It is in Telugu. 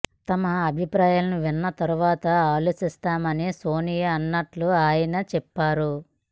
తమ అభిప్రాయాలు విన్న తర్వాత ఆలోచిస్తామని సోనియా అన్నట్లు ఆయన చెప్పారు